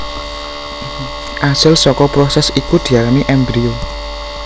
Asil saka prosès iki diarani embrio